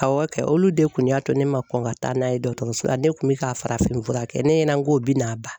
Awɔ kɛ olu de kun y'a to ne ma kɔn ka taa n'a ye dɔgɔtɔrɔso la ne kun bɛ ka farafin fura kɛ ne ɲɛna ko bɛn'a ban.